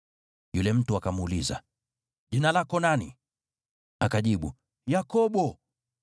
Yule mtu akamuuliza, “Jina lako nani?” Akajibu, “Yakobo.”